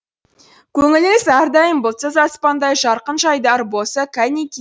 көңіліміз әрдайым бұлтсыз аспандай жарқын жайдары болса кәнеки